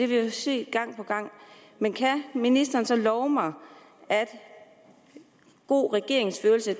vi jo set gang på gang men kan ministeren så love mig at god regeringsførelse